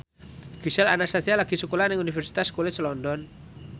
Gisel Anastasia lagi sekolah nang Universitas College London